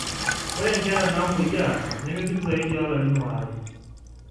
ore inkera naamoyia nemebik zaidi oolarin waare.